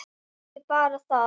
Ekki bara það.